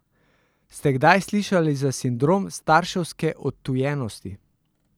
Ste kdaj slišali za sindrom starševske odtujenosti?